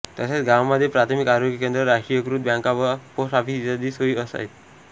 तसेच गावामध्ये प्राथमिक आरोग्य केंद्र राष्ट्रिकयकृत बॅॅंका व पोस्ट ऑफिस इत्यादी सोई आहेत